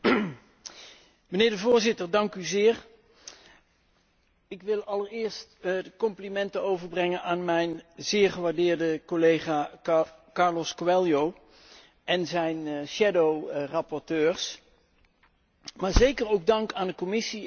Ik wil allereerst de complimenten overbrengen aan mijn zeer gewaardeerde collega Carlos Coelho en zijn schaduwrapporteurs, maar zeker ook dank aan de Commissie en aan de Raad om dit toch wel heel moeilijke probleem